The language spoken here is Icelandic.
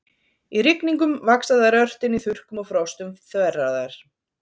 Í rigningum vaxa þær ört en í þurrkum og frostum þverra þær.